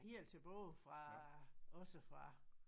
Helt tilbage fra også fra